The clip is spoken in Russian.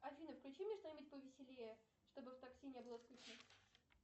афина включи мне что нибудь повеселее чтобы в такси не было скучно